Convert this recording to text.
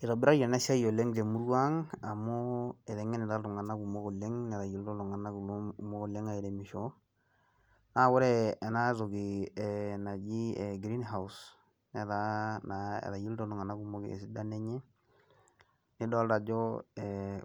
Eitobirari ena siai oleng te murua ang amu etengenita iltunganak kumok oleng netayiolito iltunganak kumok oleng airemisho naa kore ena toki eh naaji eh green house netaa naa etayiolito iltunganak kumok esidano enye nidolita ajo